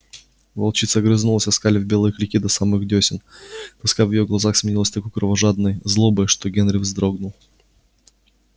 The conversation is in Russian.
волчица огрызнулась оскалив белые клыки до самых дёсен тоска в её глазах сменилась такой кровожадной злобой что генри вздрогнул